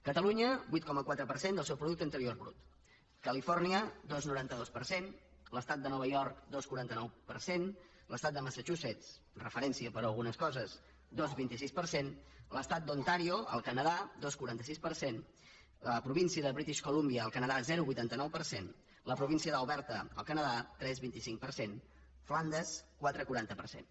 catalunya vuit coma quatre per cent del seu producte interior brut califòrnia dos coma noranta dos per cent l’estat de nova york dos coma quaranta nou per cent l’estat de massa chusetts referència per a algunes coses dos coma vint sis per cent l’estat d’ontàrio al canadà dos coma quaranta sis per cent la província de british columbia al canadà zero coma vuitanta nou per cent la província d’alberta al canadà tres coma vint cinc per cent flandes quatre coma quaranta per cent